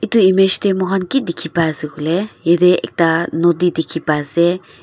edu image tae mohan ki dikhipaiase koilae yatae ekta nodi dikhipa ase.